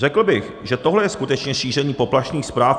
Řekl bych, že tohle je skutečně šíření poplašných zpráv.